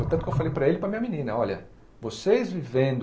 Foi tanto que eu falei para ele e para a minha menina, olha, vocês vivendo